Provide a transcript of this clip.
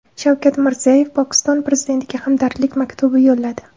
Shavkat Mirziyoyev Pokiston prezidentiga hamdardlik maktubi yo‘lladi.